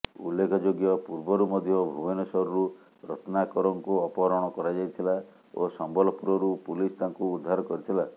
ଉଲ୍ଲେଖଯୋଗ୍ୟ ପୂର୍ବରୁ ମଧ୍ୟ ଭୁବନେଶ୍ୱରରୁ ରତ୍ନାକରଙ୍କୁ ଅପହରଣ କରାଯାଇଥିଲା ଓ ସମ୍ବଲପୁରରୁ ପୁଲିସ ତାଙ୍କୁ ଉଦ୍ଧାର କରିଥିଲା